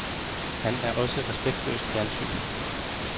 Han er også respektløst fjernsyn.